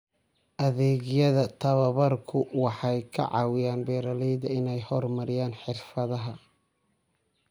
Adeegyada tababarku waxay ka caawiyaan beeralayda inay horumariyaan xirfadaha.